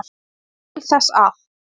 il þess að